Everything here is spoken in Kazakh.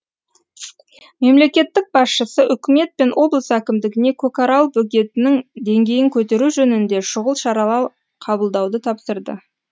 мемлекеттік басшысы үкімет пен облыс әкімдігіне көкарал бөгетінің деңгейін көтеру жөнінде шұғыл шаралар қабылдауды тапсырды